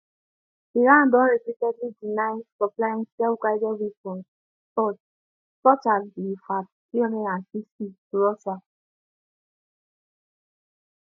iran don repeatedly deny supplying selfguided weapons such such as di fath360 to russia